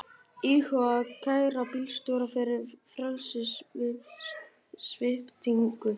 Íhuga að kæra bílstjóra fyrir frelsissviptingu